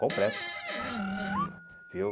Completo. Hum viu